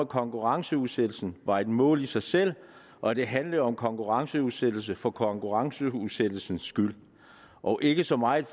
konkurrenceudsættelsen var et mål i sig selv og at det handlede om konkurrenceudsættelse for konkurrenceudsættelsens skyld og ikke så meget